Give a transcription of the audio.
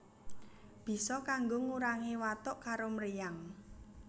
Bisa kanggo ngurangi watuk karo mriyang